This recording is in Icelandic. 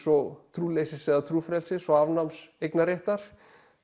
og trúleysis eða trúfrelsis og afnáms eignarréttar